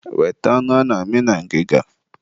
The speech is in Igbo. weta anụ ana-amị na ngịga.